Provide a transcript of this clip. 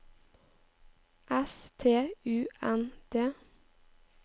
S T U N D